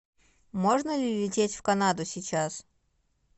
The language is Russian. можно ли лететь в канаду сейчас